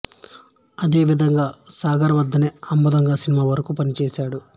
ఆ విధంగా సాగర్ వద్దనే అమ్మదొంగా సినిమా వరకూ పనిచేశాడు